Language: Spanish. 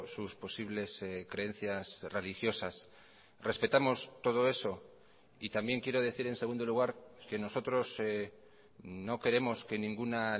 sus posibles creencias religiosas respetamos todo eso y también quiero decir en segundo lugar que nosotros no queremos que ninguna